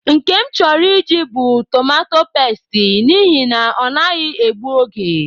Nke m chọrọ Ị jị bụ tomato pesti, n’ihi na-ọnaghị egbu oge